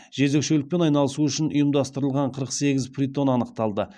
жезөкшелікпен айналысу үшін ұйымдастырылған қырық сегіз притон анықталды